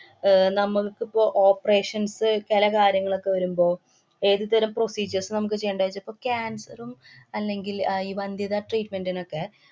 അഹ് നമ്മള്‍ക്കിപ്പൊ operations അ് ചെല കാര്യങ്ങളൊക്കെ വരുമ്പോള് ഏതു തരം procedures നമുക്ക് ചെയ്യേണ്ടേച്ചാ ഇപ്പ cancer ഉം, അല്ലെങ്കില്‍ അഹ് ഈ വന്ത്യത treatment നൊക്കെ